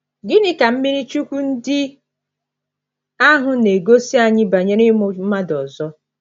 Gịnị ka mmiri chukwu ndị ahụ na - egosi anyị banyere ịmụ mmadụ ọzọ?